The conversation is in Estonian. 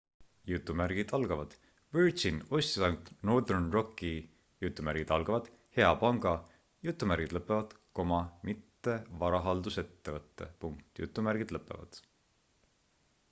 "virgin ostis ainult northern rocki "hea panga" mitte varahaldusettevõtte.